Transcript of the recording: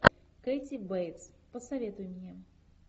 кэти бейтс посоветуй мне